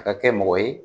A ka kɛ mɔgɔ ye